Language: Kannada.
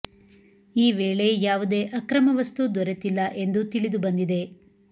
ಈ ವೇಳೆ ಯಾವುದೇ ಅಕ್ರಮ ವಸ್ತು ದೊರೆತಿಲ್ಲ ಎಂದು ತಿಳಿದು ಬಂದಿದೆ